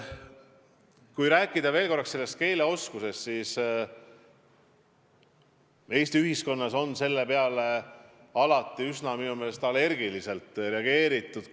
Kui rääkida veel korraks keeleoskusest, siis Eesti ühiskonnas on selle teema puhul minu meelest allergia tekkinud.